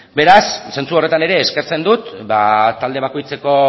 beraz zentzu horretan ere eskertzen dut ba talde bakoitzeko